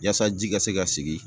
Yaasa ji ka se ka sigin